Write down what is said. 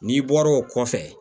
N'i bɔra o kɔfɛ